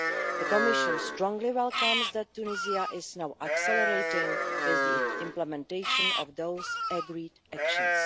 The Commission strongly welcomes the fact that Tunisia is now accelerating the implementation of those agreed actions.